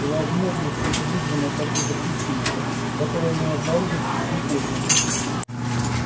и возможно что это вызвано какой то причиной которую мы обнаружим слишком поздно